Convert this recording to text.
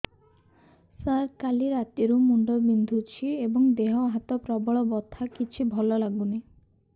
ସାର କାଲି ରାତିଠୁ ମୁଣ୍ଡ ବିନ୍ଧୁଛି ଏବଂ ଦେହ ହାତ ପ୍ରବଳ ବଥା କିଛି ଭଲ ଲାଗୁନି